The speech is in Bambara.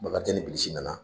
Bakarijan ni bilisi nana